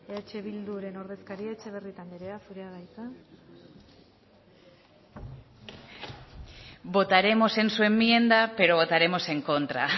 eh bilduren ordezkaria etxebarrieta anderea zurea da hitza votaremos en su enmienda pero votaremos en contra